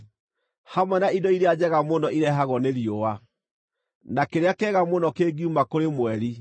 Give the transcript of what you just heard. hamwe na indo iria njega mũno ireehagwo nĩ riũa, na kĩrĩa kĩega mũno kĩngiuma kũrĩ mweri;